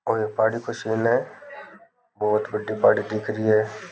कोई पहाड़ी का सीन है बहुत बड़ी पहाड़ी दिख रही है।